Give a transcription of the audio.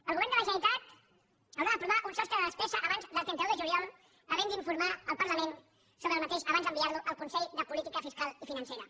el govern de la generalitat haurà d’aprovar un sostre de despesa abans del trenta un de juliol i n’haurà d’informar el parlament abans d’enviar lo al consell de política fiscal i financera